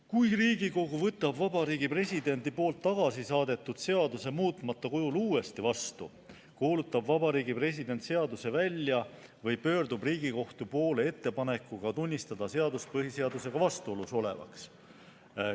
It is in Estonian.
Kui Riigikogu võtab Vabariigi Presidendi poolt tagasi saadetud seaduse muutmata kujul uuesti vastu, kuulutab Vabariigi President seaduse välja või pöördub Riigikohtu poole ettepanekuga tunnistada seadus põhiseadusega vastuolus olevaks.